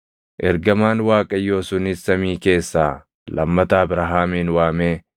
Ergamaan Waaqayyoo sunis samii keessaa lammata Abrahaamin waamee